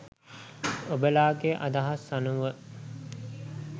ඔබලාගෙ අදහස් අනුව